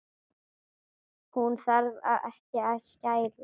Hún þarf ekki að skæla.